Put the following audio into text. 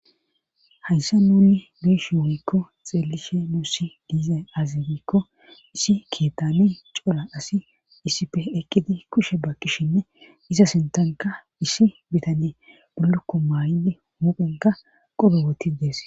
hayssa nunni be'ishin wioykko xeellishe nuussi diiza azibikko issi kitane cola asi issife ekkidi kushe bakkishinne iza sintanka issi bitane bullukko mayidi mupenka qobo woti dees